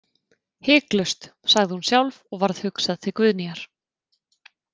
Hiklaust, sagði hún sjálf og varð hugsað til Guðnýjar.